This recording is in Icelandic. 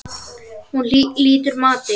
Hún lýtur mati.